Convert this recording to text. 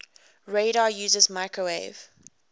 radar uses microwave